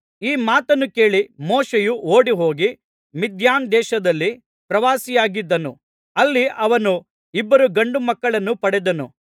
ಈ ಮಾತನ್ನು ಕೇಳಿ ಮೋಶೆಯು ಓಡಿಹೋಗಿ ಮಿದ್ಯಾನ್‍ ದೇಶದಲ್ಲಿ ಪ್ರವಾಸಿಯಾಗಿದ್ದನು ಅಲ್ಲಿ ಅವನು ಇಬ್ಬರು ಗಂಡು ಮಕ್ಕಳನ್ನು ಪಡೆದನು